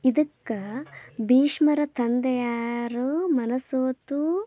ಇದಕ್ಕ ಭೀಷ್ಮರ ತಂದೆ ಯಾರು ಮನ ಸೋತು